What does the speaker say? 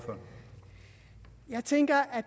jeg tænker at